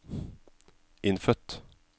innfødt